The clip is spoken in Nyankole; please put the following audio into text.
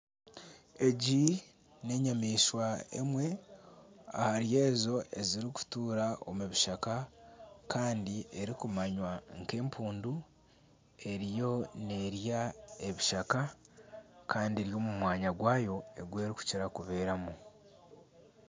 Egi n'enyamaishwa emwe ahari ezo ezirikutuura omu bishaka kandi erikumanywa nk'empundu eriyo n'erya ebishaka kandi eri omu mwanya gwayo ogu erikukira kubeeramu